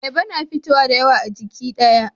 Ayaba na fitowa dayawa a jiki daya